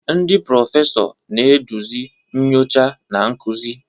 Ndị prọfesọ, na-eduzi nyocha na nkuzi.